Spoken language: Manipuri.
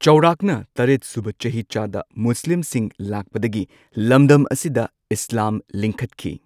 ꯆꯥꯎꯔꯥꯛꯅ ꯇꯔꯦꯠꯁꯨꯕ ꯆꯍꯤꯆꯥꯗ ꯃꯨꯁꯂꯤꯝꯁꯤꯡ ꯂꯥꯛꯄꯗꯒꯤ ꯂꯝꯗꯝ ꯑꯁꯤꯗ ꯢꯁꯂꯥꯝ ꯂꯤꯡꯈꯠꯈꯤ꯫